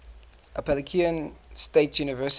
appalachian state university